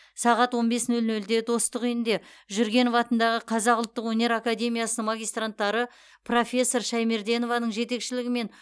сағат он бес нөл нөлде достық үйінде жүргенов атындағы қазақ ұлттық өнер академиясының магистранттары профессор шаймерденованың жетекшілігімен